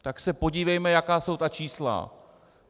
Tak se podívejme, jaká jsou ta čísla.